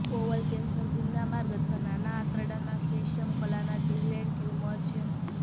bowel cancer ગુદામાર્ગ અથવા નાના આંતરડાના શ્લેષ્મ કલાના જીવલેણ ટ્યુમર છે